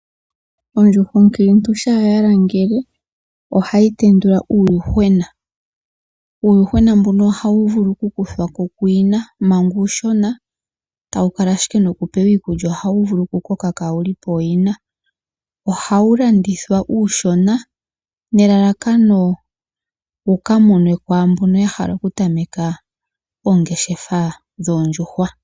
Ondjuhwa onkiintu shaa ya langele ohayi tendula uuyuhwena. Uuyuhwena mbuno ohawu vulu ku kuthwako kuyina manga, uushona tawu kala ashike noku pewa iikulya ohawu vulu kukoka kaa wuli pooyina. Ohawu landithwa uushona nelalakono wuka monwe kwaa mbono yahala kutameka oongeshefa dhoo ndjuhwa.